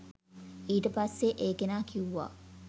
ඊට පස්සේ ඒ කෙනා කිව්වා